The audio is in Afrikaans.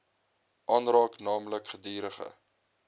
aanraak naamlik gedurige